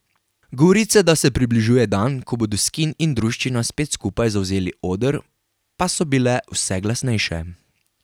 Govorice, da se približuje dan, ko bodo Skin in druščina spet skupaj zavzeli oder, pa so bile vse glasnejše.